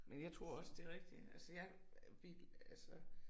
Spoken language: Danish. Men jeg tror også det rigtigt altså jeg vil altså